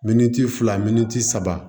Miniti fila saba